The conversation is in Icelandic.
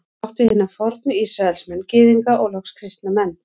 Er þar átt við hina fornu Ísraelsmenn, Gyðinga og loks kristna menn.